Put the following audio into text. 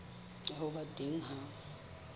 ya ho ba teng ha